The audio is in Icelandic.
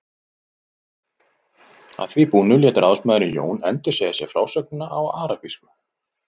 Að því búnu lét ráðsmaðurinn Jón endursegja sér frásögnina á arabísku.